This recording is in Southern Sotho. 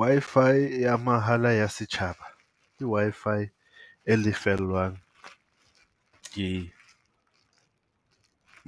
Wi-Fi ya mahala ya setjhaba ke Wi-Fi e lefellwang ke